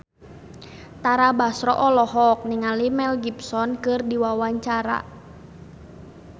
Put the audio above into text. Tara Basro olohok ningali Mel Gibson keur diwawancara